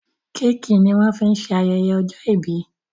Kéèkì ní wón fín ṣe ayẹyẹ ojó ibí